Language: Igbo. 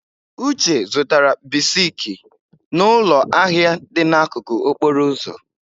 Uche zụtara bisiki n'ụlọ ahịa dị n'akụkụ okporo ụzọ.